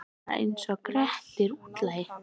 Ég var bara einsog Grettir útlagi.